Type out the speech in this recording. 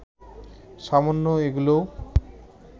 সামান্য এগুলেও